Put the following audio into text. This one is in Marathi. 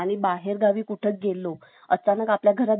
असताना आपल्या घरात जर कोणी चोरी ,